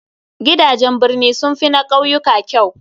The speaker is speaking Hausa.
Gidajen birni sun fi na ƙauyuka kyau.